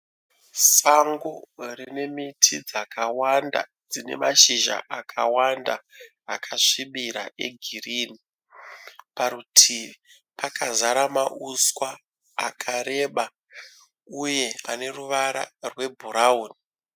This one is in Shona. Sango rine miti dzakawanda dzine mashizha akawanda akasvibira egirinhi. Parutivi pakazara mauswa akareba uye ane ruvara rwebhurawuni.